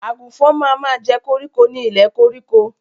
Àgùnfọn ma ma jẹ́ koríko ni ilẹ̀ koríko.